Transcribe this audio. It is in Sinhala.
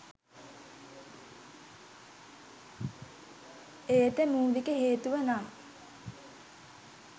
එයට මූලික හේතුව නම්